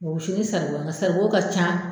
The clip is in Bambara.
A bɛ wusu ni saribɔn ye nka saribɔ ka ca.